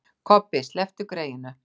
Kobbi, slepptu greyinu.